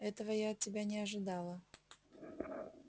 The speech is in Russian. этого я от тебя не ожидала